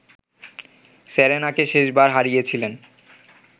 সেরেনাকে শেষবার হারিয়েছিলেন